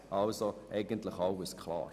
Also ist eigentlich alles klar.